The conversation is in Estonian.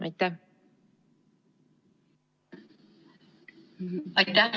Aitäh!